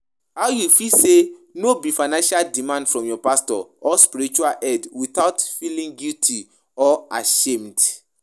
how you fit say no to financial demands from your pastor or spiritual head without feeling guilt or ashamed?